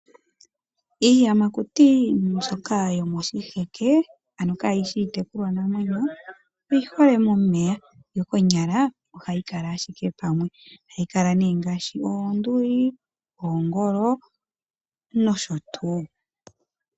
Iiyamakuti mbyoka yomoshiheke ano kaayishi iitekulwa namwenyo oyi hole momeya yo konyala ohayi kala ashike pamwe. Ohayi kala nee ngaashi oonduli, oongolo nosho tuu.